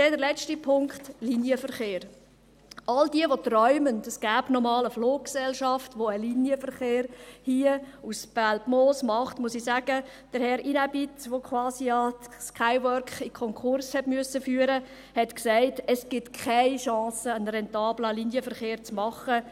Der letzte Punkt, Linienverkehr: Allen, die träumen, dass es noch einmal eine Fluggesellschaft geben wird, welche einen Linienverkehr hier vom Belpmoos aus macht, muss ich sagen, dass Herr Inäbnit, der Skywork quasi in den Konkurs führen musste, sagte, dass es keine Chance gebe, einen rentablen Linienverkehr zu machen.